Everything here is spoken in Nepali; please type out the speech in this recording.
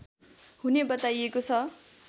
हुने बताइएको छ